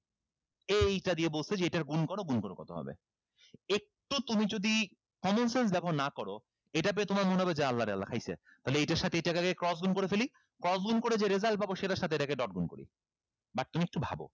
এইটা দিয়ে বলছে যে এটার গুন কর গুন করো কত হবে একটু তুমি যদি common sense ব্যবহার না করো এটা পেয়ে তোমার মনে হবে যে আল্লাহরে আল্লাহ খাইছে তাইলে এইটার সাথে এইটাকে cross গুন করে ফেলি cross গুন করে যে result পাবো সেটার সাথে এটাকে dot গুন করি